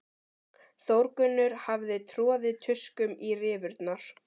Þórgunnur hafði troðið tuskum í rifurnar.